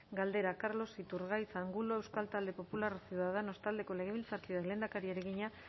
galdera carlos iturgaiz angulo euskal talde popularra ciudadanos taldeko legebiltzarkideak lehendakariari egina